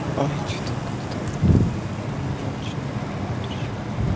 ой чё то как-то не очень доброе утречко